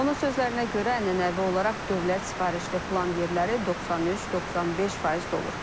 Onun sözlərinə görə ənənəvi olaraq dövlət sifarişli plan yerləri 93-95% dolur.